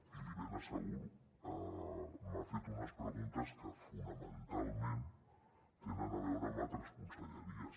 i l’hi ben asseguro m’ha fet unes preguntes que fonamentalment tenen a veure amb altres conselleries